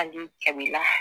Hali kabila